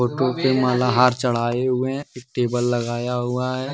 Photo पे माला हार चढ़ाए हुए हैं टेबल लगाया हुआ है।